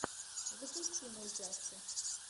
запусти мультяшку